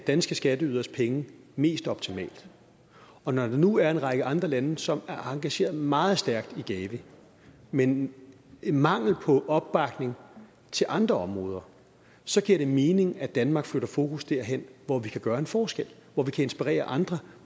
danske skatteyderes penge mest optimalt og når der nu er en række andre lande som er engageret meget stærkt i gavi men en mangel på opbakning til andre områder så giver det mening at danmark flytter fokus derhen hvor vi kan gøre en forskel og hvor vi kan inspirere andre